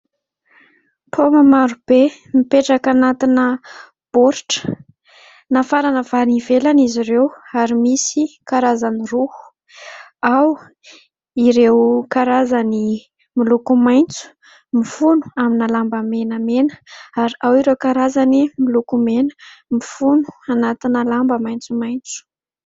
Paoma maro be mipetraka anatin'ny boratra nafarana avy any ivelany izy ireo ary misy karazany roa. Ao ireo karazany miloko maintso mifono amin'ny lamba menamena ary ao ireo karazany miloko mena mifono anatin'ny lamba maintsomaintso.